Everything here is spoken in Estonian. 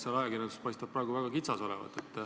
Seal ajakirjanduses paistab praegu väga kitsas olevat.